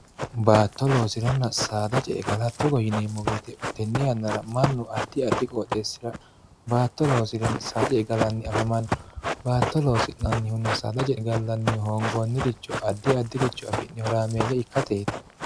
baatto loosiranna saada ce'e gala togo yineemmo weete tenne yannara mannu addi addi qooxeessira baatto loosirenna saada ce'e galanni afamanno baatto loosi'nannihunna saada ce'e gallannihu hoongoonniricho addi addiricho afi'ne horaameeyy ikkateeti